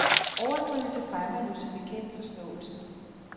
Overdrivelse fremmer jo som bekendt forståelsen.